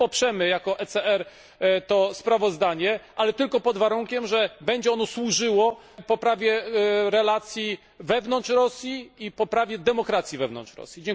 My poprzemy jako ECR to sprawozdanie, ale tylko pod warunkiem, że będzie ono służyło poprawie relacji wewnątrz Rosji i poprawie demokracji wewnątrz Rosji.